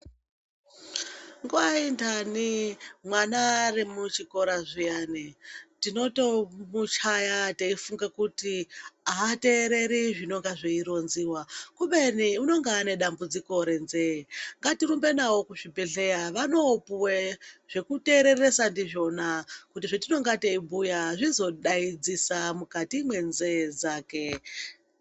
Nguwa inhani mwana ari muchikora zviyani tinotomuchaya teifunga kuti ateereri zvinenge zveironziwa. Kubeni unenge ane dambudziko renzee. Ngatirumbe navo kuzvibhendleya vanoopuwe zvekuteereresa ndizvona. Kuti zvetinenge teibhuya azvizodadzisa mukati mwenzee dzake.